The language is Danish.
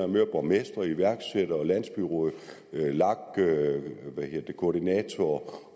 møder borgmestre iværksættere landsbyråd lag koordinatorer